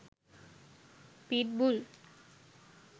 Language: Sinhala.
pit bull